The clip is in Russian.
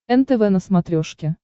нтв на смотрешке